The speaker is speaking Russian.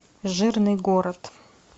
жирный город